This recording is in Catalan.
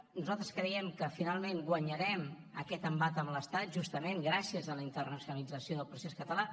nosaltres creiem que finalment guanyarem aquest embat amb l’estat justament gràcies a la internacionalització del procés català